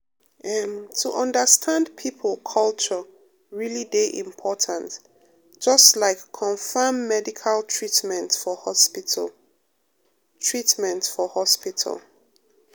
em to understand people culture really dey important just like confam medical treatment for hospital. treatment for hospital.